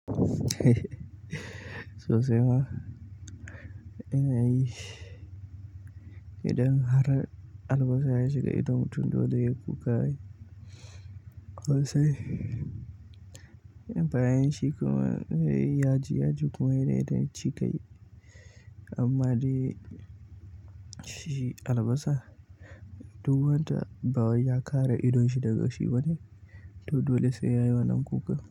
Sosai ma. Idan har albasa ya shiga ido mutum dole ya yi kuka. Sosai. Bayan shi kuma, zai yi yaji yaji kuma dai dai cika. Amma dai shi albasa duk wanda bawai ya kare idonshi daga shi bane. To dole sai yayi wannan kuka.